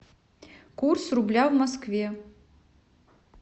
курс рубля в москве